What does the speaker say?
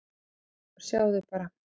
"""Já, sjáðu bara!"""